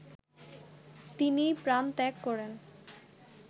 তিনি প্রাণত্যাগ করেন